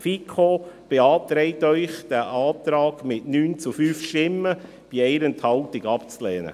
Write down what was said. Die FiKo beantragt Ihnen mit 9 zu 5 Stimmen bei 1 Enthaltung, diesen Antrag abzulehnen.